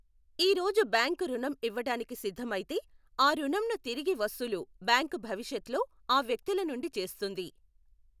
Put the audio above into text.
ఈ రోజు బ్యాంకు రుణం ఇవ్వటానికి సిద్ధమౌయితే ఆ రుణంను తిరిగి వసూలు బ్యాంకు భవిష్యత్లో ఆ వ్యక్తుల నుండి చేస్తుంది.